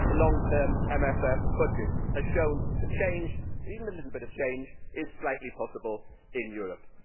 The long term MFF budget has shown that change, even a little bit of change, is slightly possible in Europe.